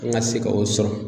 An ka se ka o sɔrɔ.